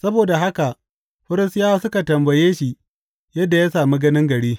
Saboda haka Farisiyawa suka tambaye shi yadda ya sami ganin gari.